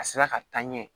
A sera ka taa ɲɛ